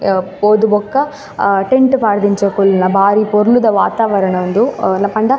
ಅಹ್ ಪೋದು ಬೊಕ ಅ ಟೆಂಟ್ ಪಾಡ್ದ್ ಇಂಚ ಕುಲ್ಲ್ನ ಬಾರಿ ಪೊರ್ಲುದ ವಾತಾವರಣ ಉಂದು ಅ ಪಂಡ .